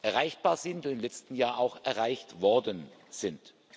erreichbar sind und im letzten Jahr auch erreicht worden sind.